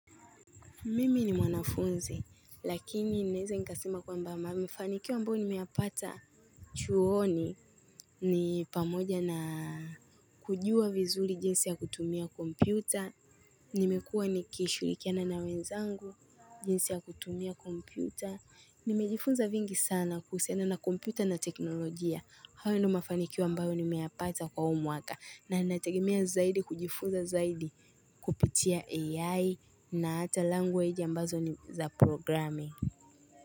Mimi ni mwanafunzi, lakini naeza nikasema kwamba mafanikio ambayo nimeyapata chuoni ni pamoja na kujua vizuri jinsi ya kutumia kompyuta, nimekuwa nikishughulikiana na wenzangu, jinsi ya kutumia kompyuta, nimejifunza vingi sana kuhusiana na kompyuta na teknolojia. Hayo ni mafanikio ambayo nimeyapata kwa huu mwaka na nategemea zaidi kujifunza zaidi kupitia AI na hata language ambazo ni za programming.